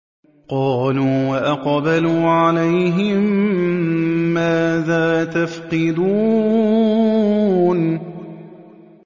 قَالُوا وَأَقْبَلُوا عَلَيْهِم مَّاذَا تَفْقِدُونَ